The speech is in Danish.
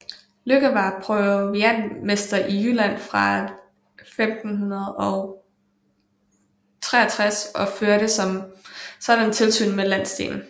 Lykke var proviantmester i Jylland fra 1563 og førte som sådan tilsyn med landsdelen